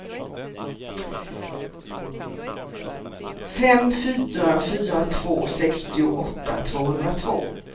fem fyra fyra två sextioåtta tvåhundratvå